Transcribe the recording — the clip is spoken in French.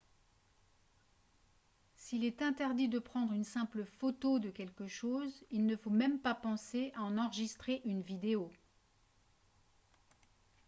s'il est interdit de prendre une simple photo de quelque chose il ne faut même pas penser à en enregistrer une vidéo